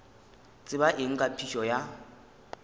tseba eng ka phišo ya